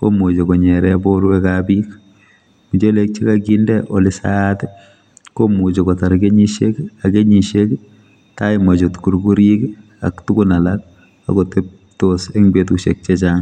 komuchi konyere borwekab bik muchelek chekakinde ole saat komuchi kotar kenyisiek ak kenyisiek taimachut kurkurik ak tugun alak akoteptos eng betusiek chechang.